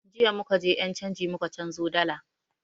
Jiya muka je ƴan canji muka canzo dalar